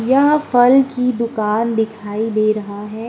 यहाँ फल की दुकान दिखाई दे रहा है।